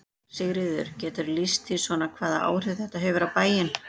Sigríður: Geturðu lýst því svona hvaða áhrif þetta hefur á bæinn?